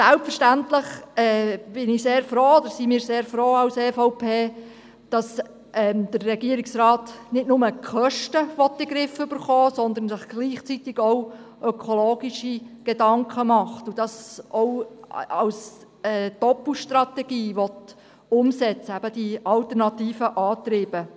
Selbstverständlich ist die EVP sehr froh darüber, dass der Regierungsrat nicht nur die Kosten in den Griff bekommen will, sondern sich gleichzeitig auch in ökologischer Hinsicht Gedanken macht und mit der Einsetzung von alternativen Antrieben eine Doppelstrategie verfolgt.